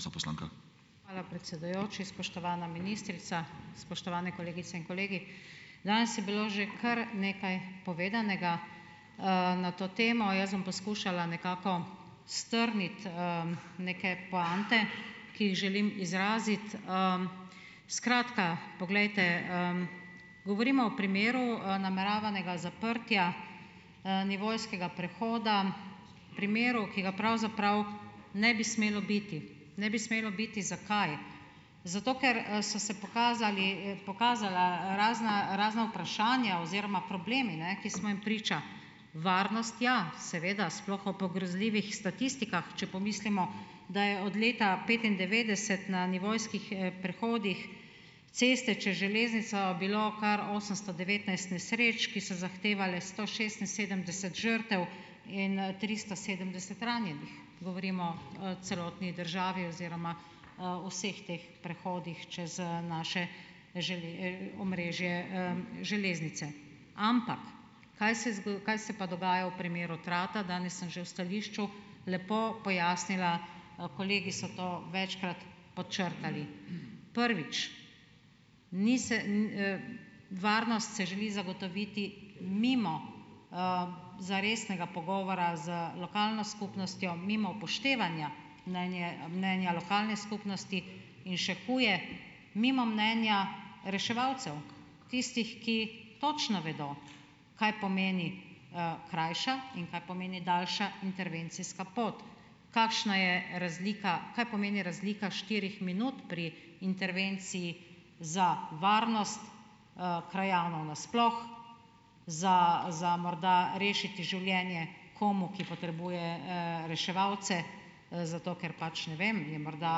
Hvala predsedujoči. Spoštovana ministrica, spoštovane kolegice in kolegi! Danes je bilo že kar nekaj povedanega, na to temo. Jaz bom poskušala nekako strniti, neke poante, ki jih želim izraziti, Skratka, poglejte, govorimo o primeru, nameravanega zaprtja, nivojskega prehoda, v primeru, ki ga pravzaprav ne bi smelo biti. Ne bi smelo biti - zakaj? Zato, ker, so se pokazali, pokazala razna razna vprašanja oziroma problemi, ne, ki smo jim priča. Varnost ja, seveda, sploh ob grozljivih statistikah, če pomislimo, da je od leta petindevetdeset na nivojskih prehodih ceste čez železnico bilo kar osemsto devetnajst nesreč, ki so zahtevale sto šestinsedemdeset žrtev in, tristo sedemdeset ranjenih. Govorim o, celotni državi oziroma o vseh teh prehodih čez, naše omrežje, železnice. Ampak kaj se kaj se pa dogaja v primeru Trata. Danes sem že v stališču lepo pojasnila, kolegi so to večkrat podčrtali. Prvič, ni se varnost se želi zagotoviti mimo, zaresnega pogovora z lokalno skupnostjo, mimo upoštevanja mnenja lokalne skupnosti. In še huje, mimo mnenja reševalcev. Tistih, ki točno vedel, kaj pomeni, krajša in kaj pomeni daljša intervencijska pot. Kakšna je razlika, kaj pomeni razlika štirih minut pri intervenciji za varnost, krajanov nasploh, za morda rešiti življenje komu, ki potrebuje, reševalce, zato ker pač ne vem, je morda,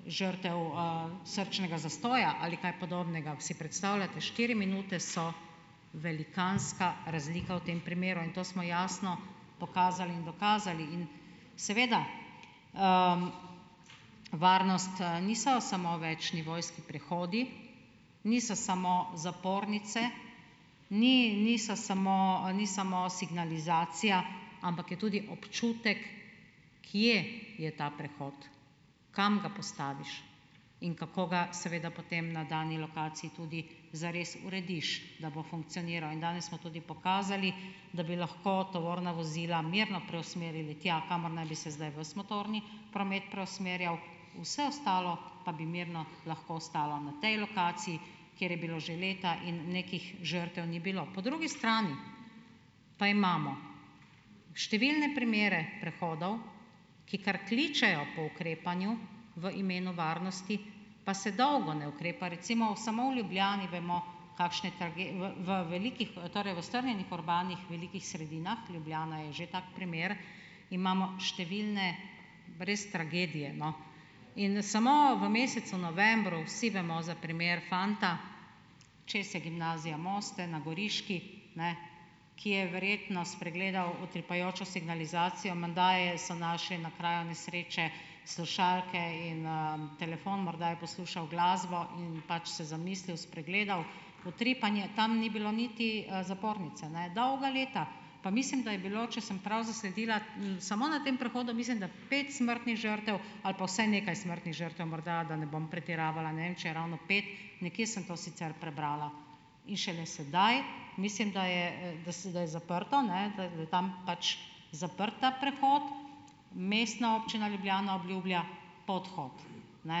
žrtev, srčnega zastoja ali kaj podobnega. Si predstavljate, štiri minute so velikanska razlika v tem primeru in to smo jasno pokazali in dokazali in. Seveda varnost, niso samo večnivojski prehodi, niso samo zapornice, niso samo ni samo signalizacija, ampak je tudi občutek, kje je ta prehod, kam ga postaviš in kako ga seveda potem na dani lokaciji tudi zares urediš, da bo funkcioniral. In danes smo tudi pokazali, da bi lahko tovorna vozila mirno preusmerili tja, kamor naj bi se zdaj vas motorni promet preusmerjal. Vse ostalo pa bi mirno lahko ostalo na tej lokaciji, kjer je bilo že leta in nekih žrtev ni bilo. Po drugi strani pa imamo številne primere prehodov, ki kar kličejo po ukrepanju v imenu varnosti, pa se dolgo ne ukrepa. Recimo v samo Ljubljani vemo, kakšne v velikih torej v strnjenih urbanih velikih sredinah, Ljubljana je že tak primer, imamo številne brez tragedije, no. In samo v mesecu novembru, vsi vemo za primer fanta, čez je Gimnazija Moste, na Goriški, ne, ki je verjetno spregledal utripajočo signalizacijo. Menda so našli na kraju nesreče slušalke in, telefon, morda je poslušal glasbo in pač se zamislil, spregledal. Utripanje tam ni bilo niti, zapornice ne dolga leta. Pa mislim, da je bilo, če sem prav zasledila, samo na tem prehodu, mislim da, pet smrtnih žrtev ali pa vsaj nekaj smrtnih žrtev morda, da ne bom pretiravala, ne vem če je ravno pet. Nekje sem to sicer prebrala. In šele sedaj mislim, da je, da je zaprto, ne, da je tam pač zaprt ta prehod. Mestna občina Ljubljana obljublja podhod. Ne.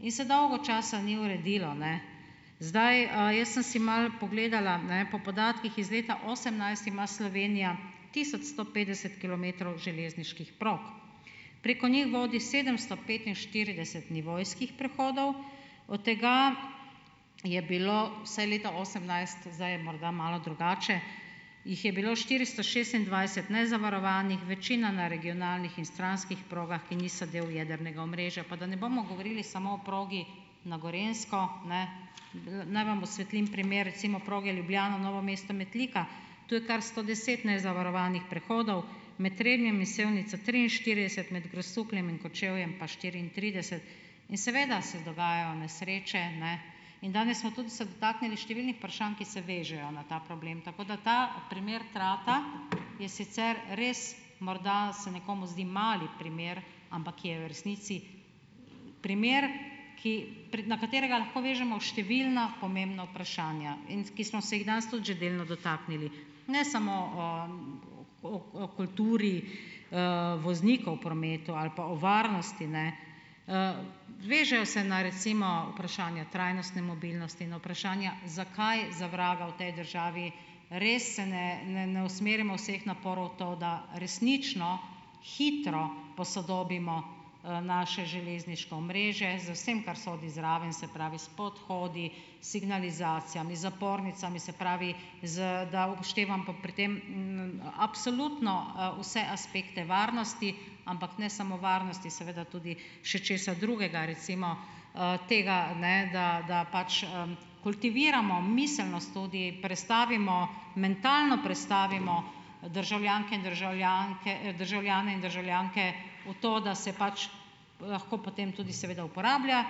In se dolgo časa ni uredilo, ne. Zdaj, jaz sem si malo pogledala, ne, po podatkih iz leta osemnajst ima Slovenija tisoč sto petdeset kilometrov železniških prog. Preko njih vodi sedemsto petinštirideset nivojskih prehodov. Od tega je bilo vsaj leta osemnajst, zdaj je morda malo drugače, jih je bilo štiristo šestindvajset nezavarovanih, večina na regionalnih in stranskih progah, ki niso del jedrnega omrežja. Pa da ne bomo govorili samo o progi na Gorenjsko, ne. Naj vam osvetlim primer, recimo, proge Ljubljana-Novo Mesto-Metlika, to je kar sto deset nezavarovanih prehodov. Med Trebnjem in Sevnico triinštirideset, med Grosupljem in Kočevjem pa štiriintrideset. In seveda se dogajajo nesreče, ne. In danes smo tudi se dotaknili številnih vprašanj, ki se vežejo na ta problem. Tako da ta primer Trata, je sicer res, morda se nekomu zdi mali primer, ampak je v resnici primer, ki, na katerega lahko vežemo številna pomembna vprašanja, in ki smo se jih danes tudi že delno dotaknili. Ne samo o kulturi, voznikov v prometu ali pa o varnosti, ne. Vežejo se na recimo vprašanja trajnostne mobilnosti, na vprašanja, zakaj za vraga v tej državi res se ne ne usmerimo vseh naporov v to, da resnično hitro posodobimo, naše železniško omrežje z vsem, kar sodi zraven, se pravi, s podhodi, s signalizacijami, zapornicami, se pravi, da upoštevam pa pri tem, absolutno, vse aspekte varnosti, ampak ne samo varnosti, seveda tudi še česa drugega, recimo, tega, ne, da, da pač, kultiviramo miselnost tudi, prestavimo, mentalno prestavimo državljanke in državljane in državljanke, državljanke v to, da se pač lahko potem tudi seveda uporablja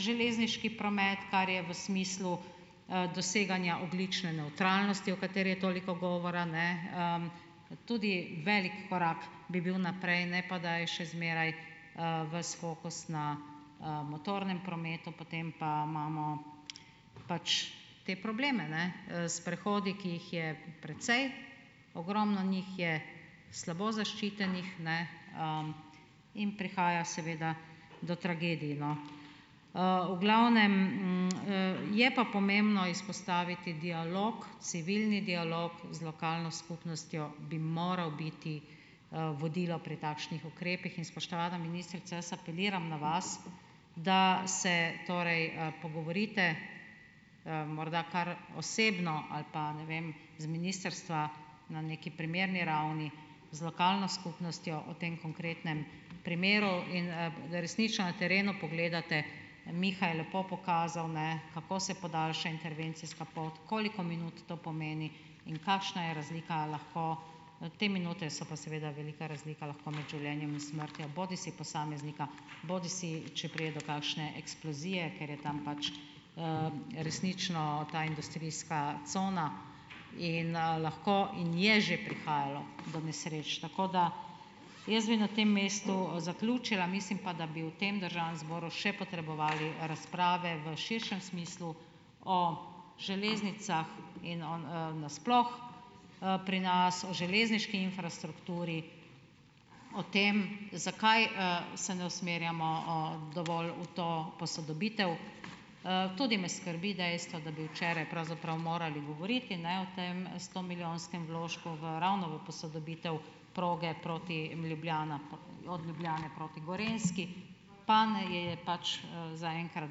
železniški promet, kar je v smislu, doseganja ogljične nevtralnosti, o kateri je toliko govora, ne, tudi velik korak bi bil naprej, ne pa, da je še zmeraj, ves fokus na, motornem prometu, potem pa imamo pač te probleme ne, s prehodi, ki jih je precej, ogromno njih je slabo zaščitenih, ne, in prihaja seveda do tragedij, no. V glavnem, je pa pomembno izpostaviti dialog, civilni dialog z lokalno skupnostjo bi moral biti, vodilo pri takšnih ukrepih, in spoštovana ministrica, jaz apeliram na vas, da se torej, pogovorite, morda kar osebno ali pa, ne vem, z ministrstva na neki primerni ravni, z lokalno skupnostjo o tem konkretnem primeru in, resnično na terenu pogledate, Miha je lepo pokazal, ne, kako se podaljša intervencijska pot, koliko minut to pomeni in kakšna je razlika, a lahko, te minute so pa seveda velika razlika lahko med življenjem in smrtjo, bodisi posameznika bodisi če pride do kakšne eksplozije, ker je tam pač, resnično ta industrijska cona in, lahko in je že prihajalo do nesreč. Tako da, jaz bi na tem mestu zaključila, mislim pa, da bi v tem državnem zboru še potrebovali razprave v širšem smislu o železnicah in na sploh, pri nas, o železniški infrastrukturi, o tem zakaj, se ne usmerjamo, dovolj v to posodobitev. Tudi me skrbi dejstvo, da bi včeraj pravzaprav morali govoriti, ne, o tem stomilijonskem vložku v ravno v posodobitev proge proti Ljubljani, od Ljubljane proti Gorenjski, pa ne, je pač, zaenkrat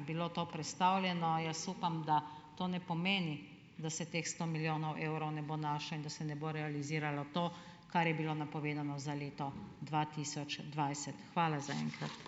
bilo to prestavljeno. Jaz upam, da to ne pomeni, da se teh sto milijonov evrov ne bo našlo in da se ne bo realiziralo to, kar je bilo napovedano za leto dva tisoč dvajset. Hvala za enkrat.